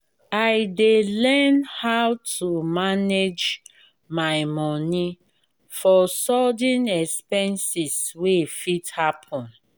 i dey learn how to manage my money for sudden expenses wey fit happen.